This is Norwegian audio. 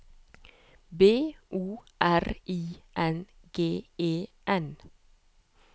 B O R I N G E N